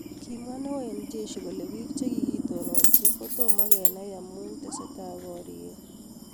Kamwe neo en Jeshi kole pik chekikoton kotumokenai amun teseta pariet